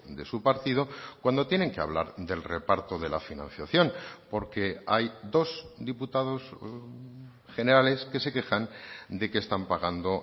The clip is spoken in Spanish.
de su partido cuando tienen que hablar del reparto de la financiación porque hay dos diputados generales que se quejan de que están pagando